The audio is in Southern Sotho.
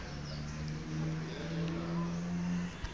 ya ka ha e le